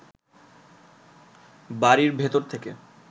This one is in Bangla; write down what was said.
বাড়ির ভেতর থেকে